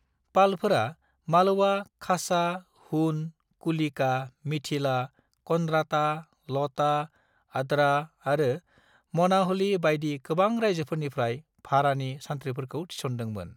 पालफोरा मालवा, खासा, हूण, कुलिका, मिथिला, कनराता, लता, अडरा आरो मनाहली बायदि गोबां रायजोफोरनिफ्राय भारानि सान्थ्रिफोरखौ थिसनदोंमोन।